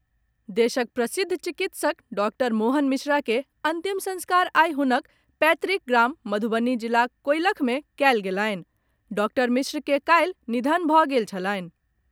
देशक प्रसिद्ध चिकित्सक डॉक्टर मोहन मिश्रा के अंतिम संस्कार आई हुनक पैतृक गाम मधुबनी जिलाक कोईलख मे कयल गेलनि डॉक्टर मिश्र के काल्हि निधन भऽ गेल छलनि।